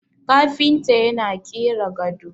kafinta yana kera gado